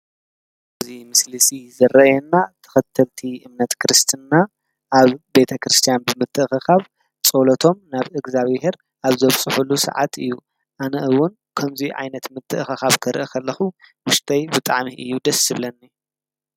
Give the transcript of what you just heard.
እዚ ምስሊ እዚ ዝረኣና ተኸተልቲ እምነት ክርስትና ኣብ ቤተክርስትያን ብምትእኽኻብ ፀሎቶም ናብ እግዚኣቢሄር ኣብ ዘብፅሕሉ ሰዓት እዩ። ኣነ እውን ከምዚ ዓይነት ምትእኽኻብ ክሪኢ እንተለኹ ውሽጠይ ብጣዕሚ እዩ ደስ ዝብለኒ።